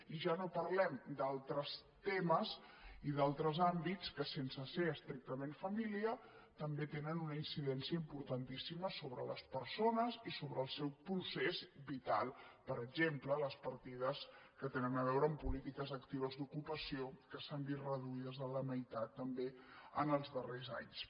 i ja no parlem d’altres temes i d’altres àmbits que sense ser estrictament família també tenen una incidència importantíssima sobre les persones i sobre el seu procés vital per exemple les partides que tenen a veure amb polítiques actives d’ocupació que s’han vist reduïdes a la meitat també en els darrers anys